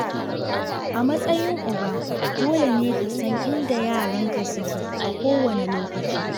A matsayin uba, dole ne ka san inda yaranka suke a kowane lokaci.